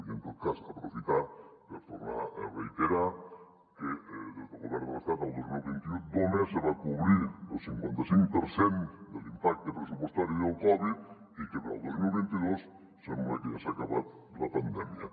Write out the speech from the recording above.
i en tot cas aprofitar per tor·nar a reiterar que des del govern de l’estat el dos mil vint u només se va cobrir el cinquan·ta·cinc per cent de l’impacte pressupostari del covid i que per al dos mil vint dos sembla que ja s’ha acabat la pandèmia